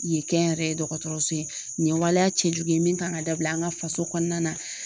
Yen kɛnyɛrɛye dɔgɔtɔrɔso ye nin ye waleya cɛjugu ye min kan ka dabila an ka faso kɔnɔna na.